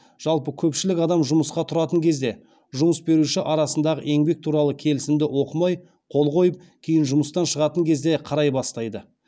жалпы көпшілік адам жұмысқа тұратын кезде жұмыс беруші арасындағы еңбек туралы келісімді оқымай қол қойып кейін жұмыстан шығатын кезде қарай бастайды